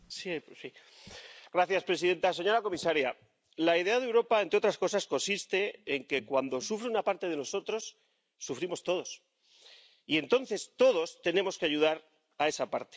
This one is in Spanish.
Señora presidenta, señora comisaria, la idea de Europa, entre otras cosas, consiste en que, cuando sufre una parte de nosotros, sufrimos todos, y entonces todos tenemos que ayudar a esa parte.